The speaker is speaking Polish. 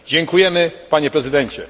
Dziękujemy Panie Prezydencie!